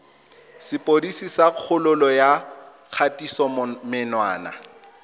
sepodisi sa kgololo ya kgatisomenwa